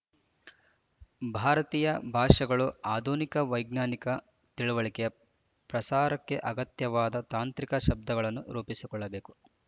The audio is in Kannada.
ಭಾರತೀಯ ಭಾಷೆಗಳು ಆಧುನಿಕ ವೈಜ್ಞಾನಿಕ ತಿಳಿವಳಿಕೆಯ ಪ್ರಸಾರಕ್ಕೆ ಅಗತ್ಯವಾದ ತಾಂತ್ರಿಕ ಶಬ್ದಗಳನ್ನು ರೂಪಿಸಿಕೊಳ್ಳಬೇಕು